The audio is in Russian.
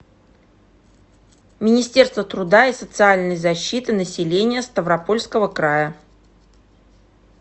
министерство труда и социальной защиты населения ставропольского края